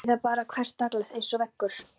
Ég vildi að þessir krakkaormar væru ekki til.